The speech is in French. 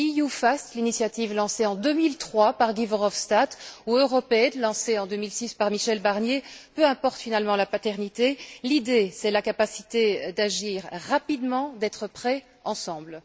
EU FAST, l'initiative lancée en 2003 par Guy Verhofstadt, ou Europaid lancé en 2006 par Michel Barnier, peu importe finalement la paternité, l'idée c'est la capacité d'agir rapidement, d'être prêts ensemble.